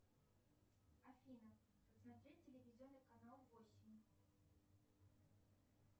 афина смотреть телевизионный канал восемь